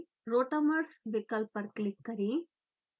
rotamers विकल्प पर click करें